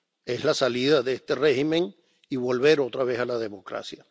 Es la salida de este régimen y volver otra vez a la democracia.